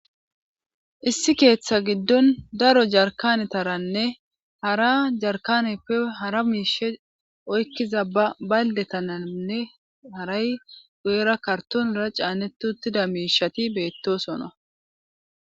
Issi keeththa giddon daro jarkanetaranne hara jarkaneppe hara miishe oykkiza baldetananne haray guyera kartonera caaneti uttida miishati beettosona.